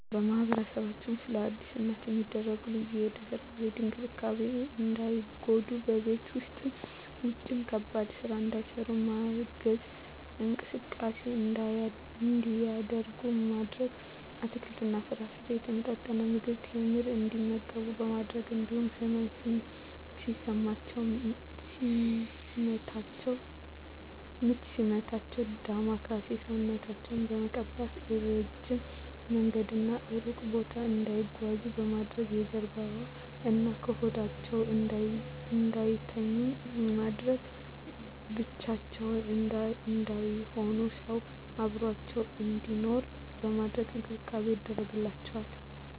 በማህበረሰባችን ውስጥ ለአዲስ እናት የሚደረጉ ልዩ የድህረ ወሊድ እንክብካቤዎች እንዳይጎዱ በቤት ውስጥም ውጭም ከባድ ስራ እንዳይሰሩ በማገዝ፣ እንቅስቃሴ እንዲያደርጉ ማድረግ፣ አትክልትና ፍራፍሬ፣ የተመጣጠነ ምግብ፣ ቴምር እንዲመገቡ በማድረግ እንዲሁም ህመም ሲሰማቸው ምች ሲመታቸው ዳማከሴ ሰውነታቸውን በመቀባት፣ እረጅም መንገድና እሩቅ ቦታ እንዳይጓዙ ማድረግ፣ በጀርባዋ እና በሆዳቸው እንዳይተኙ በማድረግ፣ ብቻቸውን እንዳይሆኑ ሰው አብሮአቸው እንዲኖር በማድረግ እንክብካቤ ይደረግላቸዋል።